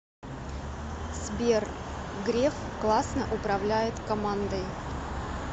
сбер греф классно управляет командой